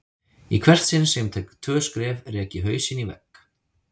Í hvert sinn sem ég tek tvö skref rek ég hausinn í vegg.